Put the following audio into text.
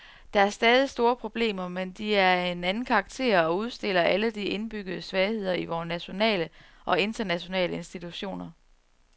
Der er stadig store problemer, men de er af en anden karakter og udstiller alle de indbyggede svagheder i vore nationale og internationale institutioner.